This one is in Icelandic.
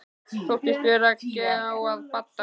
Þóttist vera að gá að Badda.